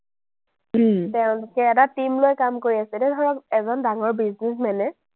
এতিয়া এটা team লৈ কাম কৰি আছে, এতিয়া ধৰক, এজন ডাঙৰ businessman এ